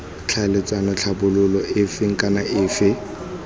tlhaeletsana tlhabololo efe kana efe